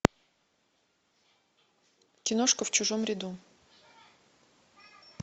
киношка в чужом ряду